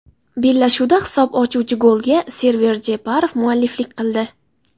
Bellashuvda hisob ochuvchi golga Server Jeparov mualliflik qildi.